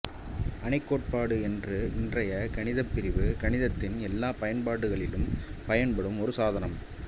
அணிக் கோட்பாடு என்ற இன்றைய கணிதப்பிரிவு கணிதத்தின் எல்லாப் பயன்பாடுகளிலும் பயன்படும் ஒரு சாதனம்